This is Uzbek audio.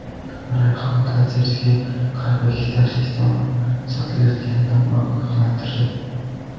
Rayhon konsertiga qalbaki taklifnomalar sotilayotganidan ogohlantirdi.